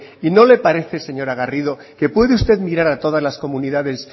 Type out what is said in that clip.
y no le parece señora garrido que puede usted mirar a todas las comunidades